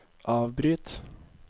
avbryt